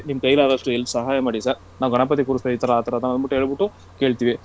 ನಿಮ್ ಕೈಲಾದಷ್ಟು help ಸಹಾಯ ಮಾಡಿ sir ನಾವು ಗಣಪತಿ ಕೂರ್ಸ್ತಾ , ಈ ಥರಾ ಆ ಥರಾ ಎಂದು ಹೇಳ್ಬಿಟ್ಟು ಕೇಳ್ತಿವಿ.